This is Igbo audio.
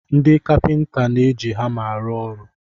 Ndị kapịnta na-eji hama arụ ọrụ.